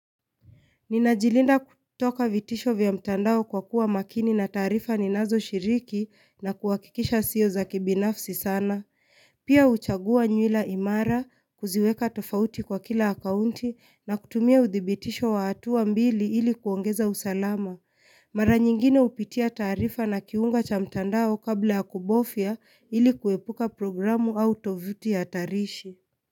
Ninajilinda kutoka vitisho vya mtandao kwa kuwa makini na taarifa ninazo shiriki na kuhakikisha sio za kibinafsi sana. Pia huchagua nywila imara, kuziweka tofauti kwa kila akaunti na kutumia uthibitisho wa hatuwa mbili ili kuongeza usalama. Mara nyingine hupitia taarifa na kiunga cha mtandao kabla ya kubofya ili kuepuka programu au tovuti ya tarishi.